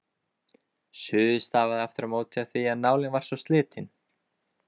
Suðið stafaði aftur á móti af því að nálin var svo slitin.